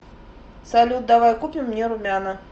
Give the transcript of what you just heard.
салют давай купим мне румяна